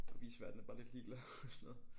Viceværten er bare lidt ligeglad og sådan noget